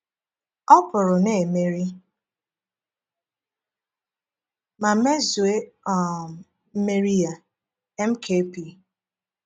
“O pụrụ na-emeri ma mezue um mmeri Ya.” — Mkp.